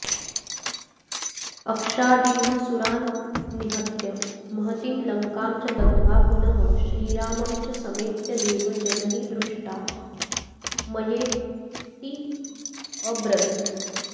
अक्षादीनसुरान्निहत्य महतीं लङ्कां च दग्ध्वा पुनः श्रीरामं च समेत्य देव जननी दृष्टा मयेत्यब्रवीत्